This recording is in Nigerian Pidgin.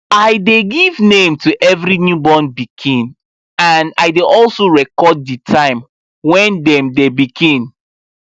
i dey give name to every new born pikin and i dey also record the time when dem the pikin